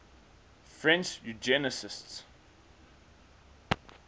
french eugenicists